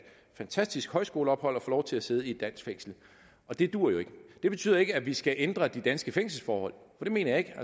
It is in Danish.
fantastisk højskoleophold at få lov til at sidde i et dansk fængsel og det duer jo ikke det betyder ikke at vi skal ændre de danske fængselsforhold for det mener jeg ikke